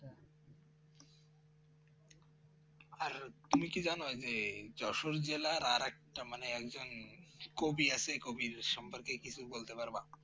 আর তুমি কি জানো যে যশোর জেলার আর একটা মানে একজন কবি আছে কবি সম্পর্কে কিছু বলতে পারবা